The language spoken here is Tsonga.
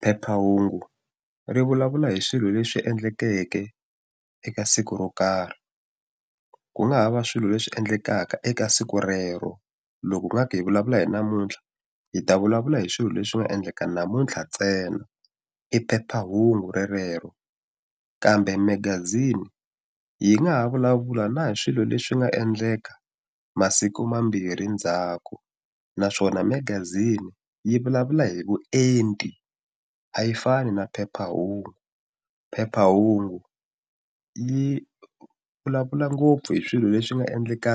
Phephahungu ri vulavula hi swilo leswi endleke eka siku ro karhi ku nga ha va swilo leswi endlekaka eka siku rero loko ngaka hi vulavula hi namuntlha hi ta vulavula hi swilo leswi nga endleka namuntlha ntsena i phephahungu relero kambe magazini yi nga ha vulavula na hi swilo leswi nga endleka masiku mambirhi ndzhaku naswona magazini yi vulavula hi vuenti a yi fani na phephahungu phephahungu yi vulavula ngopfu hi swilo leswi nga endleka